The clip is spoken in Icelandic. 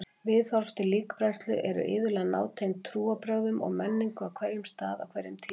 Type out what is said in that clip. Viðhorf til líkbrennslu eru iðulega nátengd trúarbrögðum og menningu á hverjum stað á hverjum tíma.